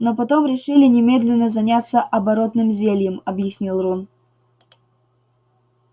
но потом решили немедленно заняться оборотным зельем объяснил рон